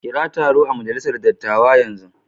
Kira taro a majalisar dattawa yanzu.